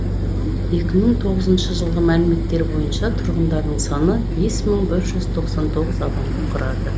екі мың тоғызыншы жылғы мәліметтер бойынша тұрғындарының саны бес мың бір жүз тоқсан тоғыз адамды құрады